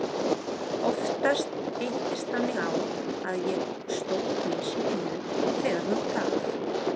Oftast hittist þannig á að ég stóð á haus í vinnu þegar hún gaf